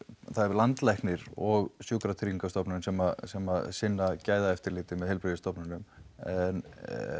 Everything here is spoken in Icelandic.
landlæknir og Sjúkratryggingastofnun sem sem sinna gæðaeftirliti með heilbrigðisstofnunum en